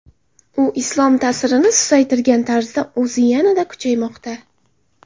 U Islom ta’sirini susaytirgan tarzda o‘zi yanada kuchaymoqda.